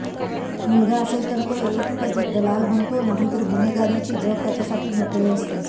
मुलगा असेल तर तो एकतर दलाल बनतो नाहीतर गुन्हेगारीचे जग त्याच्यासाठी मोकळे असते